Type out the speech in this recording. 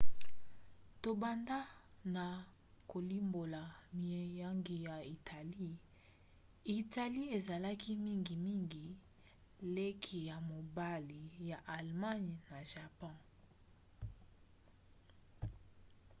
tobanda na kolimbola miango ya italie. italie ezalaki mingimingi leki ya mobali ya allemagne na japon